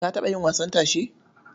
Ka taɓa yin wasan tashe?